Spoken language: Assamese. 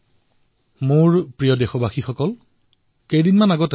মোৰ মৰমৰ দেশবাসীসকল কিছুদিন পূৰ্বে মই এটা ভিডিঅ দেখিছিলো